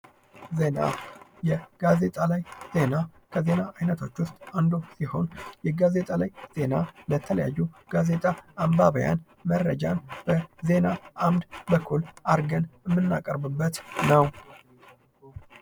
ዜና ፦ የጋዜጣ ላይ ዜና ፦ ከዜና አይነቶች ውስጥ አንዱ ሲሆን የጋዜጣ ላይ ዜና ለተለያዩ የጋዜጣ አንባቢያን መረጃን በዜና አምድ በኩል አድርገን የምናቀርብበት ነው ።